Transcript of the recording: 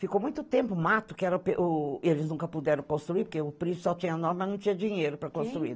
Ficou muito tempo mato, que era o pê, o nunca puderam construir, porque o príncipe só tinha nó, mas não tinha dinheiro para construir. Quem